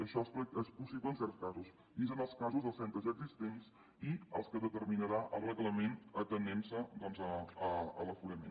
això és possible en certs casos i és en els casos dels centres ja existents i en els que determinarà el reglament atenint se a l’aforament